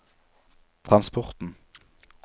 transporten